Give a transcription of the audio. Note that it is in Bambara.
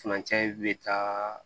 Furancɛ in bɛ taa